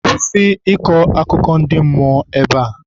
Kwụsị ịkọ akụkọ ndị mmụọ ebea!